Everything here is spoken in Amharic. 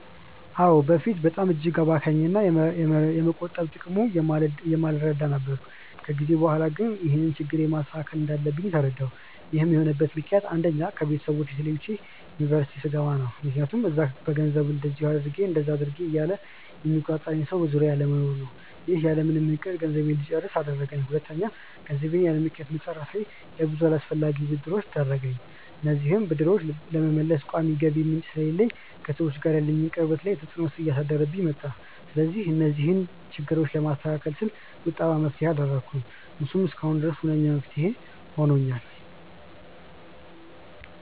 አዎ። በፊት እጅግ አባካኝ እና የመቆጠብ ጥቅሙን የማልረዳ ነበርኩ። ከጊዜ በኋላ ግን ይህንን ችግሬን ማስተካከል እንዳለብኝ ተረዳሁ። ይህን የሆነበት ምክንያት አንደኛ: ከቤተሰቦቼ ተለይቼ ዩኒቨርስቲ ስገባ ነው። ምክያቱም እዛ በገንዘቡ እንደዚ አድርጊ እንደዛ አድርጊ እያለ የሚቆጣጠረኝ ሰው በዙሪያዬ አለመኖሩ ነው። ይህም ያለምንም እቅድ ገንዘቤን እንድጨርስ አደረገኝ። ሁለተኛ: ገንዘቤን ያለምክንያት መጨረሴ ለብዙ አላስፈላጊ ብድሮች ዳረገኝ። እነዚህንም ብድሮች ለመመለስ ቋሚ የገቢ ምንጭ ስለሌለኝ ከሰዎች ጋር ያለኝን ቅርበት ላይ ተፅዕኖ እያሳደረብኝ መጣ። ስለዚህ እነዚህን ችግሮች ለማስተካከል ስል ቁጠባን መፍትሄ አደረኩ። እሱም እስካሁን ድረስ ሁነኛ መፍትሄ ሆኖኛል።